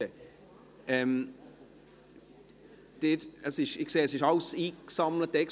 Ich sehe, dass alle eingesammelt sind.